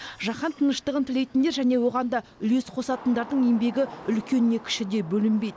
жаһан тыныштығын тілейтіндер және оған да үлес қосатындардың еңбегі үлкен не кіші деп бөлінбейді